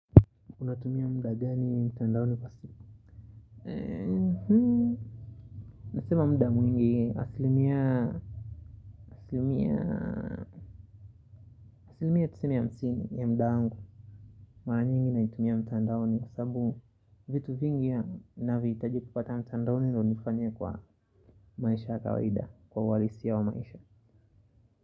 Unatumia muda gani mtandaoni kwa simu? Nasema muda mwingi asilimia Asilimia Asilimia tuseme hamsini ya muda wangu. Mara nyingi naitumia mtandaoni kwa sababu vitu vingi navihitaji kupata mtandaoni ndio nifanyie kwa maisha ya kawaida. Kwa uhalisi wa maisha.